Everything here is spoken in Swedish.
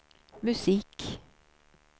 musik